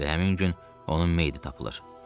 Elə həmin gün onun meyiti tapılır.